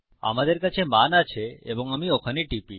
আমাদের কাছে মান আছে এবং আমি ওখানে টিপি